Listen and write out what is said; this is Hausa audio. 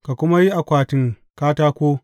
Ka kuma yi akwatin katako.